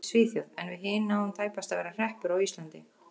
Svíþjóð en við hin náum tæpast að vera hreppur á Íslandi.